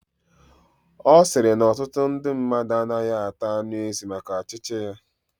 Osiri na otutu ndu mmadu anagahi ata anu ezi maka achichi ya